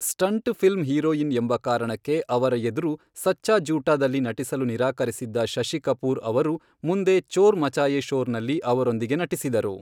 Stunt film heroine ಎಂಬ ಕಾರಣಕ್ಕೆ ಅವರ ಎದುರು ಸಚ್ಚಾ ಝೂಠಾ ದಲ್ಲಿ ನಟಿಸಲು ನಿರಾಕರಿಸಿದ್ದ ಶಶಿ ಕಪೂರ್ ಅವರು ಮುಂದೆ ಚೋರ್ ಮಚಾಯೆ ಶೋರ್ನಲ್ಲಿ ಅವರೊಂದಿಗೆ ನಟಿಸಿದರು.